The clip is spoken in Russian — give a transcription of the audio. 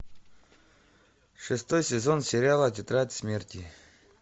шестой сезон сериала тетрадь смерти